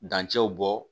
Dancɛw bɔ